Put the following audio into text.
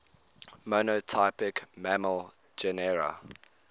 monotypic mammal genera